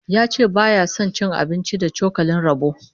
Ya ce baya son cin abinci da cokalin roba